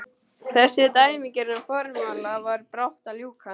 Þessum dæmigerða formála var brátt að ljúka.